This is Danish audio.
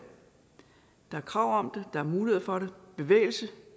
der er krav om det der er mulighed for det bevægelse